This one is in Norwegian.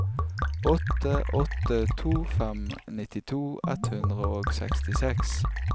åtte åtte to fem nittito ett hundre og sekstiseks